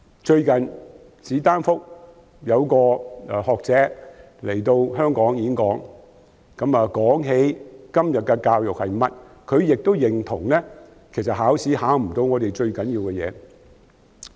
最近，史丹福大學一位學者來香港演講，說到今天的教育情況，他亦認同考試未能考核最重要的事。